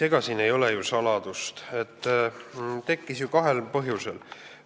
Ega siin ei ole ju saladust, et see tekkis kahel põhjusel.